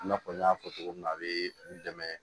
I n'a fɔ n y'a fɔ cogo min na a bɛ n dɛmɛ